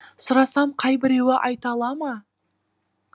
сұрасам қай біреуі айта ала ма